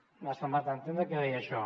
m’ha semblat entendre que deia això